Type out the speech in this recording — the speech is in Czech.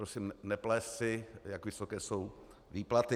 Prosím neplést si, jak vysoké jsou výplaty.